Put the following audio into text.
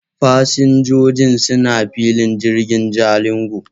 Fasinjoji suna filin jirgin Jalingo.